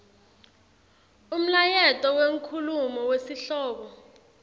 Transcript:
umlayeto wenkhulumo wesihlobo